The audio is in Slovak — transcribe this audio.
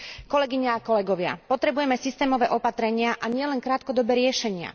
Kolegyne a kolegovia, potrebujeme systémové opatrenia a nielen krátkodobé riešenia.